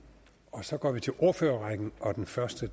og så går vi til ordførerrækken og den første